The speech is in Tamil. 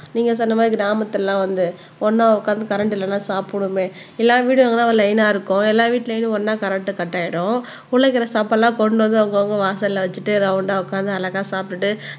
நீங்க சொன்ன மாதிரி கிராமத்துல எல்லாம் வந்து ஒண்ணா உட்கார்ந்து கரண்ட் இல்லைன்னா சாப்பிடுவோமே எல்லா வீடும் அங்கதான் ஒரு லைன்னா இருக்கும் எல்லா வீட்டுலயும் ஒண்ணா கரண்ட் கட் ஆயிடும் உள்ள இருக்கிற சாப்பாடு எல்லாம் கொண்டு வந்து அவங்கவங்க வாசல்ல வச்சுட்டு ரௌண்ட உட்கார்ந்து அழகா சாப்டுட்டு